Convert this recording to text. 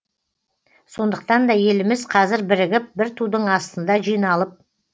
сондықтан да еліміз қазір бірігіп бір тудың астында жиналып